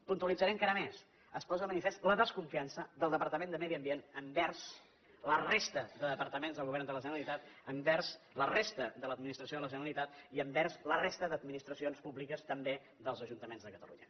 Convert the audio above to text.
puntualitzaré encara més es posa de manifest la desconfiança del departament de medi ambient envers la resta de departaments del govern de la generalitat envers la resta de l’administració de la generalitat i envers la resta d’administracions públiques també dels ajuntaments de catalunya